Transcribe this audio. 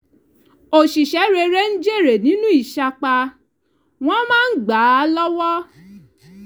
oṣìṣẹ́ rere ń jèrè nínú ìsapá wọ́n máa ń gbà án l'ọ́wọ́